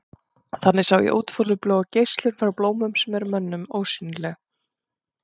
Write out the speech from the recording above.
Þannig sjá þau útfjólubláa geislun frá blómum sem er mönnum ósýnileg.